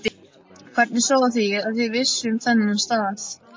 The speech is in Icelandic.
Nadia, hversu margir dagar fram að næsta fríi?